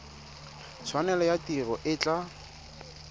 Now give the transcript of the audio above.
tshwanelo ya tiro e tla